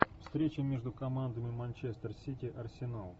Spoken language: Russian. встреча между командами манчестер сити арсенал